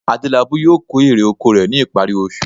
Adélabú yóò kó èrè oko rẹ̀ ní ìparí oṣù